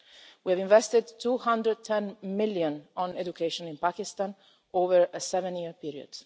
We have invested 210 million on education in Pakistan over a seven-year period.